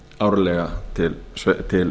árlega til ráðuneytisins til